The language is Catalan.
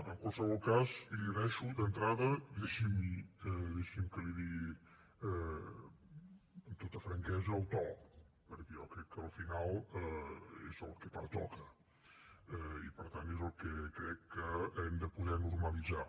en qualsevol cas li agraeixo d’entrada i deixi’m que l’hi digui amb tota franquesa el to perquè jo crec que al final és el que pertoca i per tant és el que crec que hem de poder normalitzar